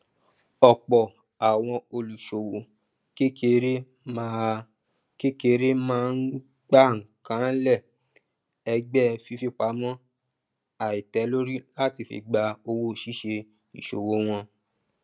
ọpọ àwọn olùṣòwò kékeré máa kékeré máa ń gbákànlẹ ẹgbẹ fífipamọ àìtẹlórí láti fi gba owó ṣíṣe ìṣòwò wọn